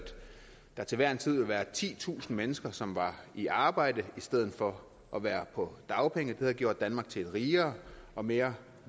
der til hver en tid ville være titusind flere mennesker som var i arbejde i stedet for at være på dagpenge det havde gjort danmark til et rigere og mere